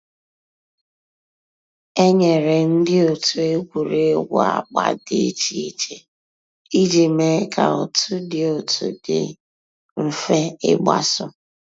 É nyéré ndị́ ótú ègwùrégwú àgbà dị́ ìchè ìchè ìjì méé kà otu dị́ otu dị́ m̀fè ígbàsó.